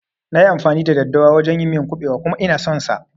Nayi amfani da daddawa a wajan yin miyar kuɓewa kuma Ina son sa